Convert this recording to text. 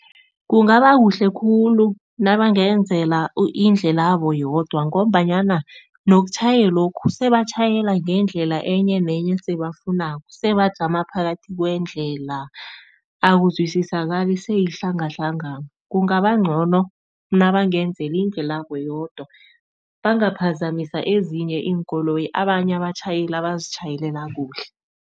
Kungaba kuhle khulu nabangenzelwa indlelabo yodwa ngombanyana nokutjhayelokhu batjhayela ngendlela enye nenye abayifunako. Bajama phakathi kwendlela, akuzwisisakali, sekuyihlangahlangano. Kungaba ncono nabangenzelwa indlelabo yodwa, bangaphazamisa ezinye iinkoloyi abanye abatjhayeli abazitjhayelela kuhle.